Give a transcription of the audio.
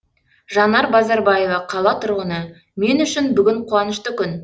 жанар базарбаева қала тұрғыны мен үшін бүгін қуанышты күн